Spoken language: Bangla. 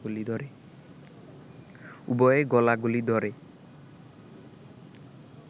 উভয়ে গলাগলি ধরে